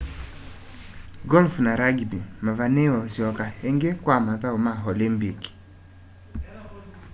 golf na rugby mavaniiwe usyoka ingi kwa mathau ma olympic